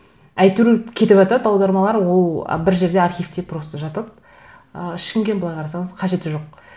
әйтеуір кетіватады аудармалар ол бір жерде архивте просто жатады ы ешкімге былай қарасаңыз қажеті жоқ